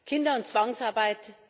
Kinder und Zwangsarbeit